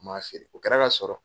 N ma feere o kɛra k'a sɔrɔ